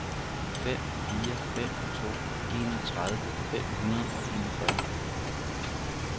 fem fire fem to enogtredive fem hundrede og enogfyrre